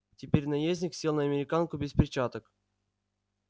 теперь наездник сел на американку без перчаток